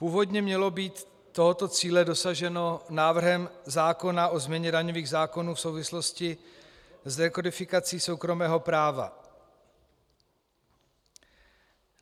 Původně mělo být tohoto cíle dosaženo návrhem zákona o změně daňových zákonů v souvislosti s rekodifikací soukromého práva.